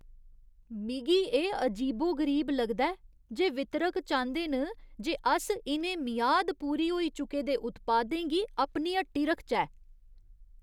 मिगी एह् अजीबो गरीब लगदा ऐ जे वितरक चांह्‌दे न जे अस इ'नें मियाद पूरी होई चुके दे उत्पादें गी अपनी हट्टी रखचै।